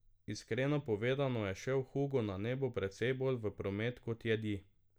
Iskreno povedano je šel hugo na nebu precej bolj v promet kot jedi.